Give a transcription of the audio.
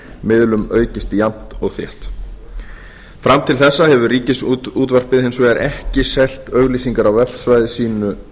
miðlum aukist jafnt og þétt fram til þessa hefur ríkisútvarpið hins vegar ekki selt auglýsingar á vefsvæði sínu